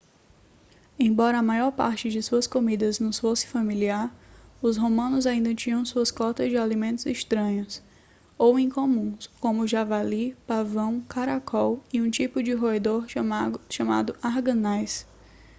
embora a maior parte de suas comidas nos fosse familiar os romanos ainda tinham sua cota de alimentos estranhos ou incomuns como javali pavão caracol e um tipo de roedor chamado arganaz